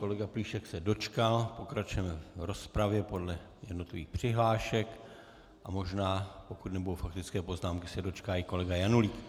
Kolega Plíšek se dočkal, pokračujeme v rozpravě podle jednotlivých přihlášek a možná, pokud nebudou faktické poznámky, se dočká i kolega Janulík.